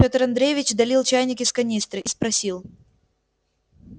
петр андреевич долил чайник из канистры и спросил